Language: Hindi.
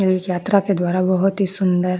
यात्रा के द्वारा बहुत ही सुंदर --